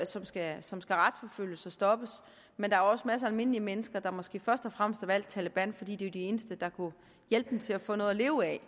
som skal som skal retsforfølges og stoppes men der er også masser af almindelige mennesker der måske først og fremmest har valgt taleban fordi de var de eneste der kunne hjælpe dem til at få noget at leve af